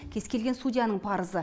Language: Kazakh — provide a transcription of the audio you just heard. кез келген судьяның парызы